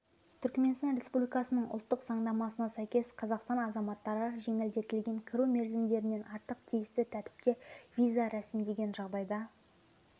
түркіменстан республикасының ұлттық заңнамасына сәйкес қазақстан азаматтары жеңілдетілген кіру мерзімдерінен артық тиісті тәртіпте виза ресімдеген жағдайда